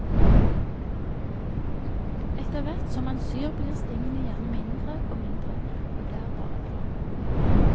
Etterhvert som man syr blir stingene gjerne mindre og mindre, og det er bare bra.